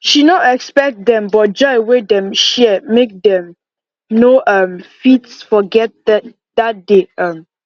she no expect dem but joy wey dem share make dem no um fit forget dat day um